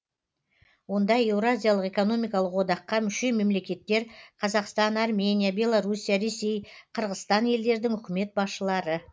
онда еуразиялық экономикалық одаққа мүше мемлекеттер қазақстан армения беларусия ресей қырғызстан елдердің үкімет басшылары